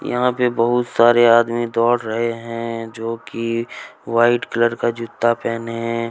यहां पे बहुत सारे आदमी दौड़ रहे हैं जो की वाइट कलर का जूता पहने हैं।